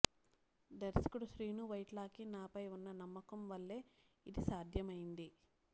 దర్శకుడు శ్రీను వైట్లకి నాపై ఉన్న నమ్మకం వల్లే ఇది సాధ్యమైంది